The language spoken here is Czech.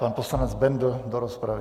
Pan poslanec Bendl do rozpravy.